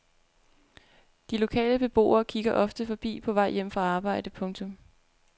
De lokale beboere kigger ofte forbi på vej hjem fra arbejde. punktum